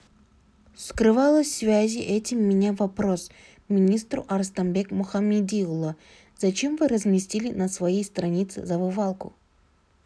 скрывалось связи этим меня вопрос министру арыстанбек мұхамедиұлы зачем вы разместили на своей странице зазывалку